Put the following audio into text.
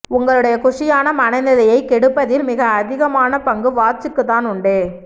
உங்களுடைய குஷியான மனநிலையைக் கெடுப்பதில் மிக அதிகமான பங்கு வாட்ச்க்குத் தான் உண்டு